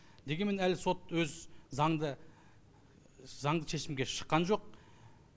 дегенмен әлі сот өз заңды заңды шешімге шыққан жоқ